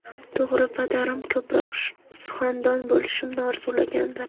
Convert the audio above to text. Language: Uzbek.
To‘g‘ri, padarim ko‘proq suxandon bo‘lishimni orzulaganlar.